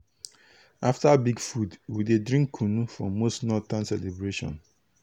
after big food we dey drink kunu for most northern celebration.